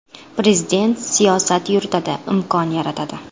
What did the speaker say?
Prezident siyosat yuritadi, imkon yaratadi.